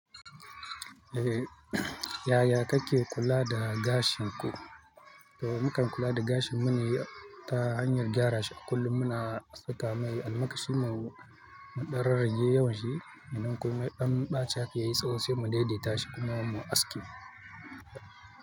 Yaya kake kula da gashin ku? To mukan kula da gashinmu ne ta hanyar gyara shi a kullum muna saka mai almakashi, mu ɗan rarrage yawan shi, idan kuma ya ɗan ɓace haka yayi, tsawo sai mu daidaita shi kuma mu aske.